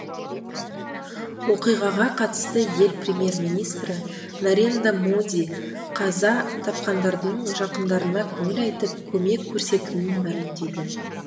оқиғаға қатысты ел премьер министрі нарендра моди қаза тапқандардың жақындарына көңіл айтып көмек көрсетілетінін мәлімдеді